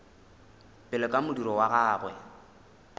pele ka modiro wa gagwe